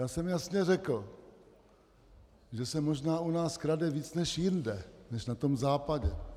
Já jsem jasně řekl, že se možná u nás krade víc než jinde, než na tom západě.